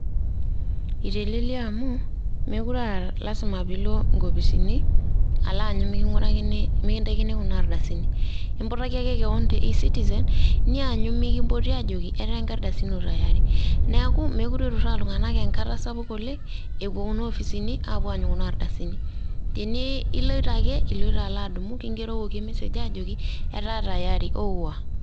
Itelelia amu, mekure ah lasima pe ilo inkopisini, alo aanyu miking'urakini mikintaikini kuna ardasini. Iputaki aje keon te e-citizen ,nianyu mikimpoti aajoki, etaa nkardasini ino tayari. Neeku mekure iturraa iltung'anak enkata sapuk oleng', epuo kuna opisini apuo aanyu kuna ardasini. Tene iloito ake iloito alo adumu kigerokoki message ajoki, etaa tayari ouwa.